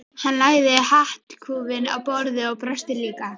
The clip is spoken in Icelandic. Hann lagði hattkúfinn á borðið og brosti líka.